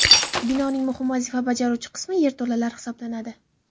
Binoning muhim vazifa bajaruvchi qismi yerto‘lalar hisoblanadi.